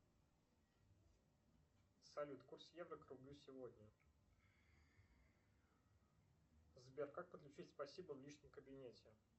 салют курс евро к рублю сегодня сбер как подключить спасибо в личном кабинете